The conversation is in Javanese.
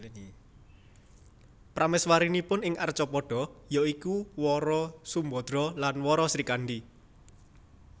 Prameswarinipun ing Arcapada ya iku Wara Sumbadra dan Wara Srikandi